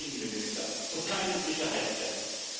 Kein Innenminister und keine Sicherheitskräfte.